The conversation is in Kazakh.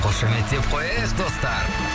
қошеметтеп қояйық достар